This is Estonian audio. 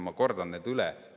Ma kordan need üle.